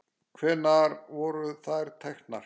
Hvenær voru þær teknar?